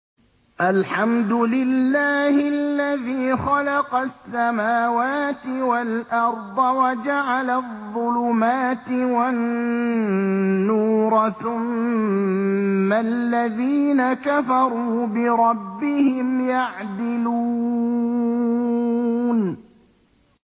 الْحَمْدُ لِلَّهِ الَّذِي خَلَقَ السَّمَاوَاتِ وَالْأَرْضَ وَجَعَلَ الظُّلُمَاتِ وَالنُّورَ ۖ ثُمَّ الَّذِينَ كَفَرُوا بِرَبِّهِمْ يَعْدِلُونَ